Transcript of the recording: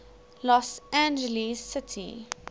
los angeles city